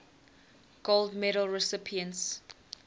gold medal recipients